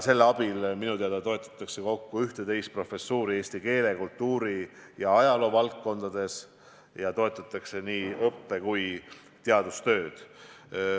Selle abil minu teada toetatakse kokku 11 professuuri eesti keele, kultuuri ja ajaloo valdkondades, ja toetatakse nii õppe- kui teadustööd.